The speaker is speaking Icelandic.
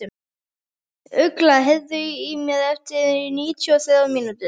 Ugla, heyrðu í mér eftir níutíu og þrjár mínútur.